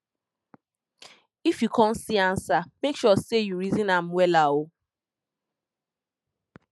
if yu con see ansa mek sure sey you reason am wella o